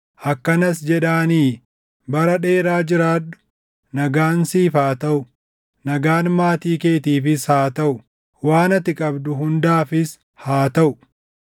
Akkanas jedhaanii: ‘Bara dheeraa jiraadhu! Nagaan siif haa taʼu; nagaan maatii keetiifis haa taʼu! Waan ati qabdu hundaafis haa taʼu!